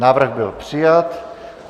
Návrh byl přijat.